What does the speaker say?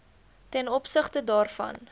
ten opsigte daarvan